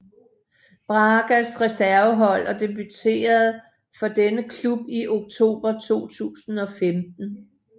Bragas reservehold og debuterede for denne klub i oktober 2015